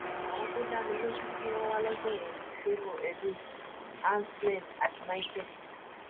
àwọn tó dá mi lójú tí wọn wà lọjọ yẹn ni favor edwin anslem àti micheal